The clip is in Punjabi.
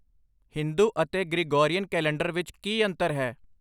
ਹਿੰਦੂ ਅਤੇ ਗ੍ਰਿਗੋਰੀਅਨ ਕੈਲੰਡਰ ਵਿੱਚ ਕੀ ਅੰਤਰ ਹੈ?